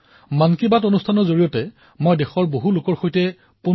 আৰু তাত কি লিখা আছে সেই বিষয়ে মই আপোনালোকৰ সন্মুখত পঢ়ি শুনাইছো